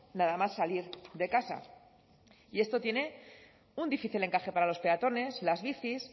nada más salir de casa y esto tiene un difícil encaje para los peatones las bicis